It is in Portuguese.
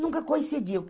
Nunca conseguiu.